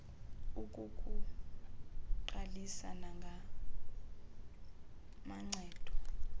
ukukuqalisa nanga amacebo